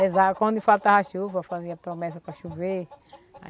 Rezava quando faltava chuva, fazia promessa para chover.